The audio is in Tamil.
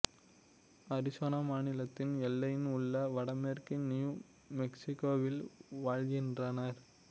அரிசோனா மாநிலத்தின் எல்லையில் உள்ள வடமேற்கு நியூ மெக்சிகோவில் வாழ்கின்றனர்